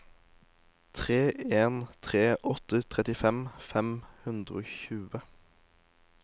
tre en tre åtte trettifem fem hundre og tjue